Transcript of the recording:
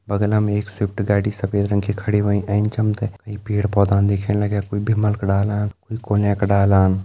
बगलम हमि एक स्विफ्ट गाड़ी सफ़ेद रंग की खड़ी होईं एंच हम ते कई पेड़ पौधान दिखेण लग्यां कोई भिमल का डालान कोई कोल्यां का डालान।